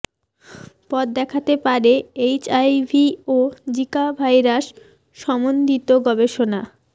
পথ দেখাতে পারে এইচআইভি ও জিকা ভাইরাস সম্বন্ধিত গবেষণা